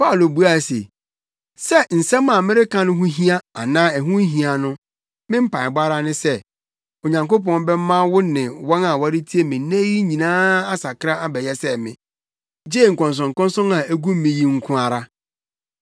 Paulo buae se, “Sɛ nsɛm a mereka no ho hia anaa ɛho nhia no, me mpaebɔ ara ne sɛ, Onyankopɔn bɛma wo ne wɔn a wɔretie me nnɛ yi nyinaa asakra abɛyɛ sɛ me, gye nkɔnsɔnkɔnsɔn a egu me yi nko ara.”